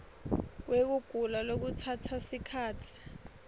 wekugula lokutsatsa sikhatsi